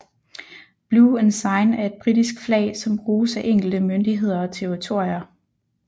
Blue Ensign er et britisk flag som bruges af enkelte myndigheder og territorier